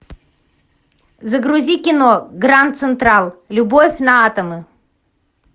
загрузи кино гранд централ любовь на атомы